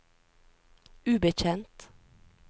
ubetjent